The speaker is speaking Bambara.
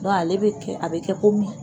Dɔnku ale bɛ kɛ, a bɛ kɛ komin